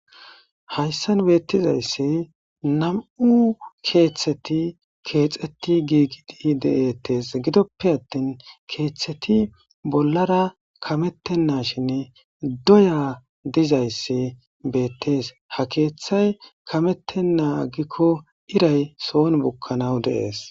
hayssan beettizayssi nam7u keeththeti keexeti giigidi de7ettes gidoppe attin keeththeti bollara kamettennashinne doya dizayssi beettees ha keeththay kamettennaa aggikko iray soon bukkanaw dees